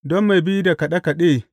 Don mai bi da kaɗe kaɗe.